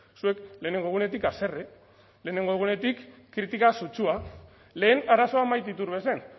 zuek lehenengo egunetik haserre lehenengo egunetik kritika sutsua lehen arazoa maite iturbe zen